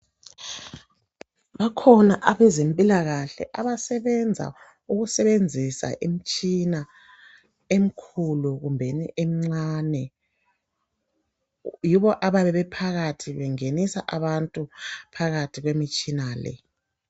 Bakhona abezempilakahle abasebenza ukusebenzisa imitshina emkhulu kumbe emncane. Yibo abayabe bephakathi bengenisa abantu phakathi kwemitshina le.